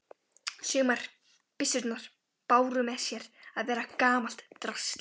Sumar byssurnar báru með sér að vera gamalt drasl.